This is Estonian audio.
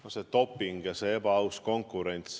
No see doping ja see ebaaus konkurents ...